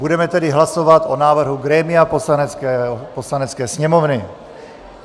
Budeme tedy hlasovat o návrhu grémia Poslanecké sněmovny.